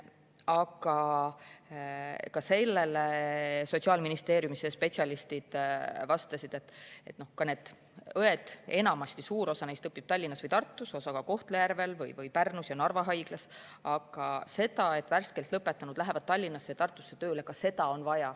Aga ka sellele Sotsiaalministeeriumi spetsialistid vastasid, et suur osa õpib Tallinnas või Tartus, osa ka Kohtla-Järvel, Pärnus või Narva haiglas, ja ka seda on vaja, et värskelt lõpetanu läheks tööle Tallinnasse või Tartusse.